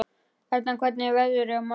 Erna, hvernig verður veðrið á morgun?